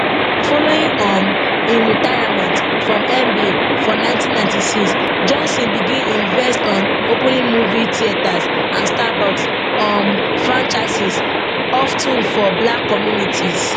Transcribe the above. following um im retirement from nba for nineteen ninety six johnson begin invest on opening movie theaters and starbucks um franchises of ten for black communities